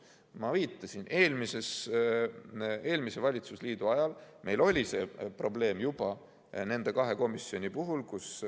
Nagu ma viitasin, eelmise valitsusliidu ajal meil juba oli see probleem nende kahe komisjoni puhul.